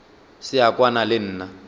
se a kwana le nna